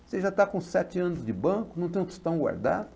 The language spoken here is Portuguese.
Você já está com sete anos de banco, não tem um tostão guardado?